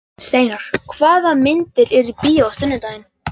Steinar, hvaða myndir eru í bíó á sunnudaginn?